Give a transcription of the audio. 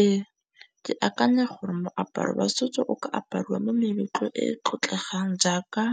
Ee, ke akanya gore moaparo wa setso o ka apariwa mo meletlong e e tlotlegang jaaka